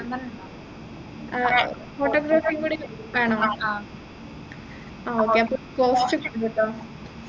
ആഹ് photography ഉംകൂടി വേണോ ആ okay അപ്പൊ cost കൂടുട്ടോ